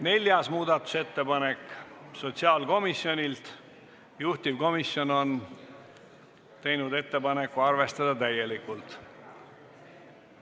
Neljas muudatusettepanek on sotsiaalkomisjonilt, juhtivkomisjon on teinud ettepaneku arvestada seda täielikult.